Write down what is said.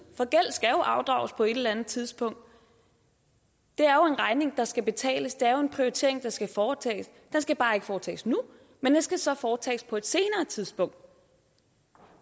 for gæld skal jo afdrages på et eller andet tidspunkt det er jo en regning der skal betales og det er en prioritering der skal foretages den skal bare ikke foretages nu men den skal så foretages på et senere tidspunkt